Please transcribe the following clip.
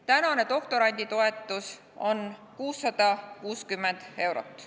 Tänane doktoranditoetus on 660 eurot.